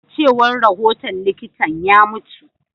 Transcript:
A cewar rahoton likitan, ya mutu.